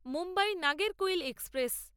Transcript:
Mumbai Nagercoil express